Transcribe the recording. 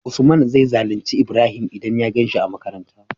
usman zai zalunci ibrahim idan ya ganshi a makaranta